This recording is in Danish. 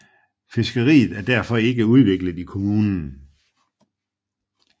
Fiskeriet er derfor ikke udviklet i kommunen